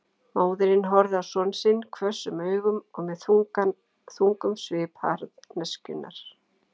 Móðirin horfði á son sinn hvössum augum og með þungum svip harðneskjunnar.